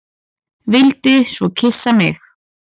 Vildi svo kyssa mig.